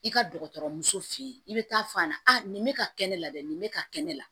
I ka dɔgɔtɔrɔ muso fe yen i be taa fɔ a ɲɛna a nin bɛ ka kɛ ne la dɛ nin bɛ ka kɛ ne la